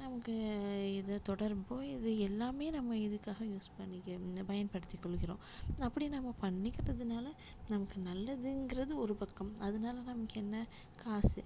நமக்கு இது தொடரும் இது எல்லாமே நம்ம இதுக்காக use பண்ணிக்க~ பயன்படுத்தி கொள்கிறோம் அப்படி நம்ம பண்ணிக்கிறதுனால நமக்கு நல்லதுங்கிறது ஒரு பக்கம் அதனால நமக்கு என்ன காசு